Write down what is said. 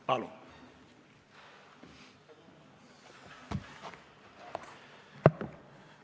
Palun!